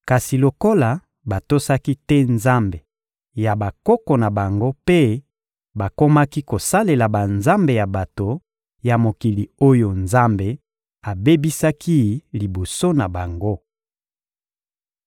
Kasi lokola batosaki te Nzambe ya bakoko na bango mpe bakomaki kosalela banzambe ya bato ya mokili oyo Nzambe abebisaki liboso na bango.